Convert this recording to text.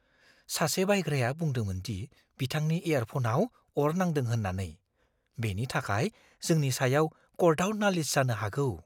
सासे बायग्राया बुंदोंमोन दि बिथांनि इयारफ'नाव अर नांदों होननानै। बेनि थाखाय जोंनि सायाव कर्टआव नालिस जानो हागौ।